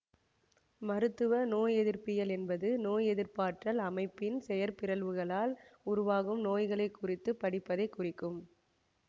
மருத்துவ நோயெதிர்ப்பியல் என்பது நோயெதிர்ப்பாற்றல் அமைப்பின் செயற்பிறழ்வுகளால் உருவாகும் நோய்களை குறித்து படிப்பதைக் குறிக்கும்